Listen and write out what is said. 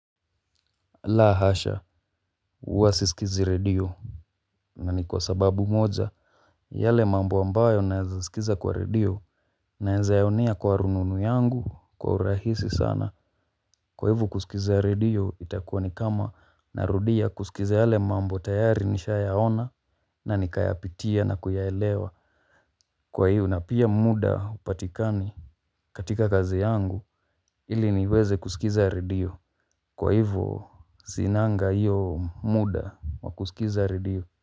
La hasha, huwa sisikizi redio. Na ni kwa sababu moja, yale mambo ambayo naezasikiza kwa redio, naeza yaonea kwa rununu yangu, kwa urahisi sana. Kwa hivo kusikiza redio, itakuwa ni kama narudia kusikiza yale mambo tayari nishayaona, na nikayapitia na kuyaelewa. Kwa hivo, na pia muda hupatikani katika kazi yangu, ili niweze kusikiza redio. Kwa hivo, sinanga hiyo muda wa kusikiza redio.